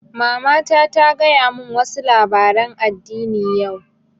Mamata ta gaya mun wa su labaren addini yau